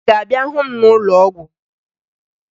Ị ga-abịa hụ m n'ụlọọgwụ?